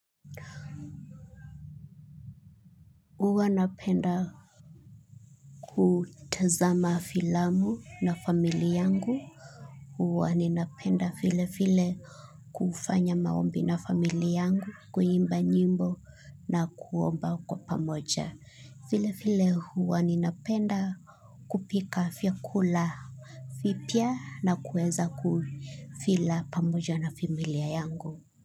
Uwa napenda kutazama filamu na famili yangu huwa ninapenda file file kufanya maombi na famili yangu kuimba nyimbo na kuomba kwa pamoja. File file huwa ninapenda kupika fyakula. Fipia na kueza kufila pamoja na femilia yangu.